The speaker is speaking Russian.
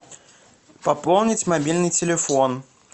пополнить мобильный телефон